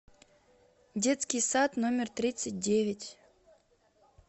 детский сад номер тридцать девять